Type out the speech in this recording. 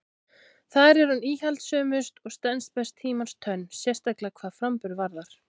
Þar er hún íhaldssömust og stenst best tímans tönn, sérstaklega hvað framburð varðar.